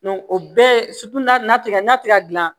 o bɛɛ ye ka gilan